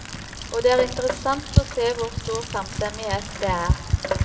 Og det er interessant å se hvor stor samstemmighet det er.